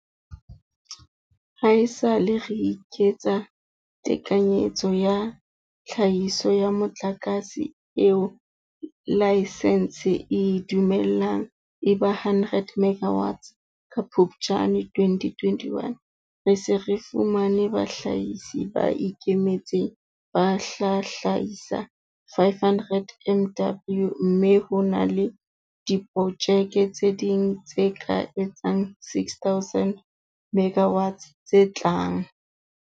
Haesale re eketsa tekanyetso ya tlhahiso ya motlakase eo laesense e e dumellang e ba 100 megawatts ka Phuptjane 2021, re se re fumane bahlahisi ba ikemetseng ba tla hlahisa 500 MW mme ho na le diprojeke tse ding tse ka etsang 6 000 MW tse tlang.